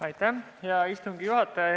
Hea istungi juhataja!